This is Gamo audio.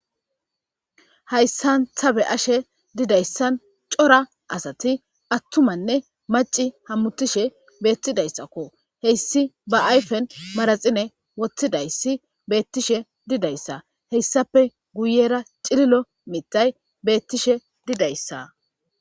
Haysan ta be'ashe didaysan c'ora asati atumane mac'i hamutishe betidaysakko heysi ba ayfen maraxine wotidayis betishe didaysa haysape guyera c'lilo matay betishe didaysa.